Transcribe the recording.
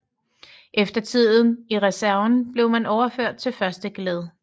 Efter tiden i reserven blev man overført til første geled